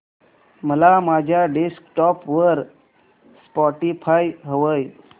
मला माझ्या डेस्कटॉप वर स्पॉटीफाय हवंय